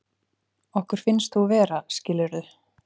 Okkur finnst þú vera, skilurðu.